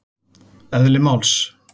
Eðli máls